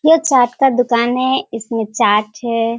ये चाट का दुकान है इसमे चाट है।